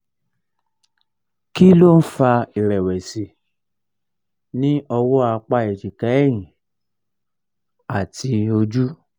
kí um ló ń fa ìrẹ̀wẹ̀sì ní um ọwọ́ apá ejika ẹ̀yìn àti ojú?